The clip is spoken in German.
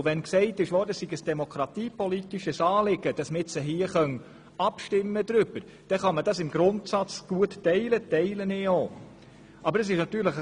Wenn gesagt wurde, es sei ein demokratiepolitisches Anliegen, dass man nun hier darüber abstimmen könne, dann kann man das im Grundsatz gut teilen, und ich tue das auch.